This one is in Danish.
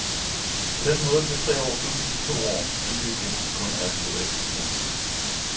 På den måde bliver tre år pludselig til to år, hvilket igen kun er et teoretisk tal.